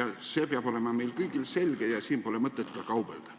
ja see peab olema meil kõigil selge, siin pole mõtet kaubelda?